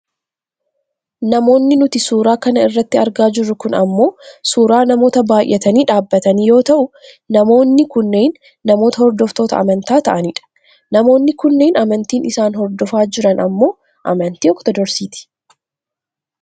Namoonnis nuti suuraa kana irratti argaa jirru kun ammoo suuraa namoota baayyatanii dhaabbatanii yoo ta'u, namoonni kunneen namoota hordoftoota amantaa ta'anidha. Namoonni kunneen amantiin isaan hordofaa jiran ammoo ammantii ortodoksiti.